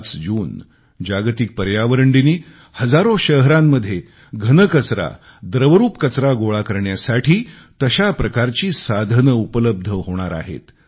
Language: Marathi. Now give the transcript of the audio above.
5 जून जागतिक पर्यावरण दिनी सुमारे चार हजार शहरांमध्ये घन कचरा द्रवरूप कचरा गोळा करण्यासाठी तशा प्रकारची साधने उपलब्ध होणार आहेत